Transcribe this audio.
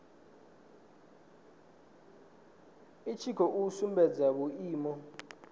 i tshi khou sumbedza vhuimo